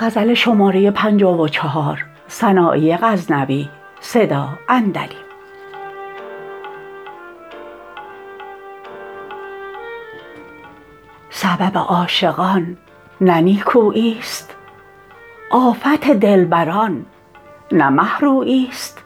سبب عاشقان نه نیکوییست آفت دلبران نه مه روییست